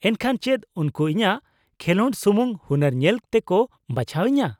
ᱼᱮᱱᱠᱷᱟᱱ ᱪᱮᱫ ᱩᱱᱠᱩ ᱤᱧᱟᱹᱜ ᱠᱷᱮᱞᱚᱸᱰ ᱥᱩᱢᱩᱝ ᱦᱩᱱᱟᱹᱨ ᱧᱮᱞ ᱛᱮᱠᱚ ᱵᱟᱪᱷᱟᱣ ᱤᱧᱟᱹ ?